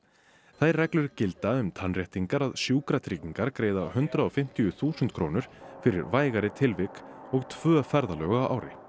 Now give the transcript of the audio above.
þær reglur gilda um tannréttingar að Sjúkatryggingar greiða hundrað og fimmtíu þúsund krónur fyrir vægari tilvik og tvö ferðalög á ári